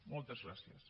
moltes gràcies